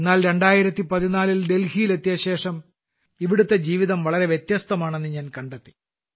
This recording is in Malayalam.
എന്നാൽ 2014ൽ ഡൽഹിയിലെത്തിയശേഷം ഇവിടുത്തെ ജീവിതം വളരെ വ്യത്യസ്തമാണെന്ന് ഞാൻ കണ്ടെത്തി